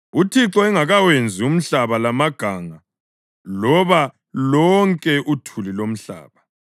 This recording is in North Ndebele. uThixo engakawenzi umhlaba lamaganga, loba lonke uthuli lomhlaba.